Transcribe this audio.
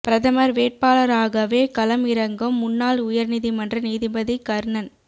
பிரதமர் வேட்பாளராகவே களம் இறங்கும் முன்னாள் உயர் நீதிமன்ற நீதிபதி கர்ணன்